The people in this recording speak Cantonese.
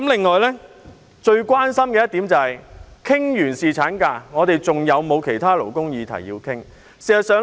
我最關心的是，我們完成侍產假的討論後，還要討論其他勞工議題嗎？